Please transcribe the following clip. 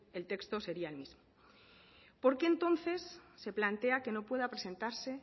el texto sería el mismo por qué entonces se plantea que no pueda presentarse